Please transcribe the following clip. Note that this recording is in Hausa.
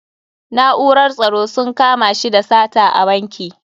Na'urar tsaro sun kama shi da sata a banki.